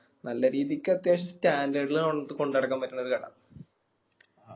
നല്ല രീതിക്ക് അത്യാവശ്യം standard ൽ നമ്മളടത്ത് കൊണ്ട് നടക്കാൻ പറ്റുന്നൊരു കട